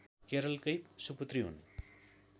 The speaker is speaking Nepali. केरलकै सुपुत्री हुन्